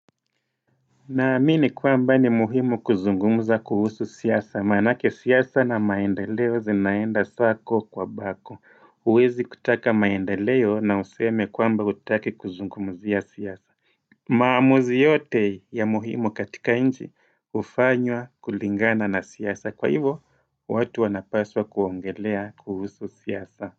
Naamini kwamba ni muhimu kuzungumuza kuhusu siyasa maanake siyasa na maendeleo zinaenda sako kwa bako Uwezi kutaka maendeleo na useme kwamba hutaki kuzungumuzia siyasa maamuzi yote ya muhimu katika nji ufanywa kulingana na siyasa kwa hivyo watu wanapaswa kuongelea kuhusu siyasa.